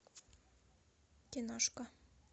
киношка